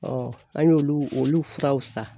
an y'olu olu furaw san.